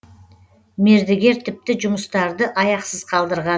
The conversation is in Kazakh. мердігер тіпті жұмыстарды аяқсыз қалдырған